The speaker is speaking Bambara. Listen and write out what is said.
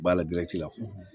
B'a la la